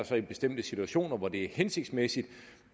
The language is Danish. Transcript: så bestemte situationer hvor det er hensigtsmæssigt